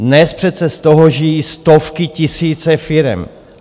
Dnes přece z toho žijí stovky, tisíce firem.